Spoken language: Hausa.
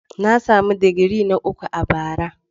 Na samu digiri na uku a bara.